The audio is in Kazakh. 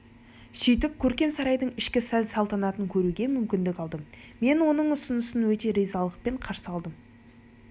сөйтіп көркем сарайдың ішкі сән-салтанатын көруге мүмкіндік алдым мен оның ұсынысын өте ризалықпен қарсы алдым сіздің